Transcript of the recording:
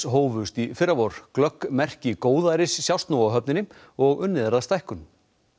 hófust í fyrravor glögg merki góðæris sjást nú á höfninni og unnið er að stækkun